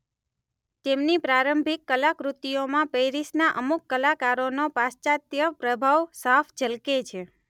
તેમની પ્રારંભિક કલાકૃતિઓમાં પેરિસના અમુક કલાકારોનો પાશ્ચાત્ય પ્રભાવ પ્રભાવ સાફ ઝલકે છે.